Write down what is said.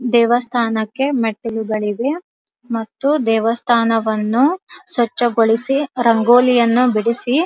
ದೇವಸ್ಥಾನಕ್ಕೆ ಮೆಟ್ಟಿಲುಗಳಿವೆ ಮತ್ತು ದೇವಸ್ಥಾನವನ್ನು ಸ್ವಚ್ಛಗೊಳಿಸಿ ರಂಗೋಲಿಯನ್ನು ಬಿಡಿಸಿ --